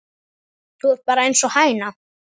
Þú ert bara einsog hæna.